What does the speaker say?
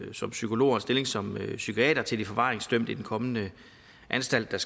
som psykolog og en stilling som psykiater til de forvaringsdømte i den kommende anstalt og